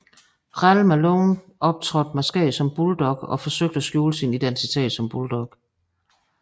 Ralle Malone optrådte maskeret som Bulldogg og forsøgte at skjule sin identitet som Bulldogg